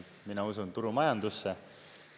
Mina usun turumajandusse.